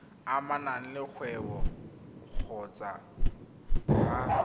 amanang le kgwebo kgotsa ga